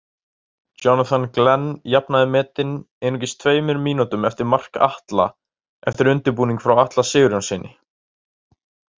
Jonathan Glenn jafnaði metin einungis tveimur mínútum eftir mark Atla eftir undirbúning frá Atla Sigurjónssyni.